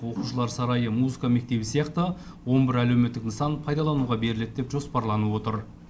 оқушылар сарайы музыка мектебі сияқты он бір әлеуметтік нысан пайдалануға беріледі деп жоспарланып отыр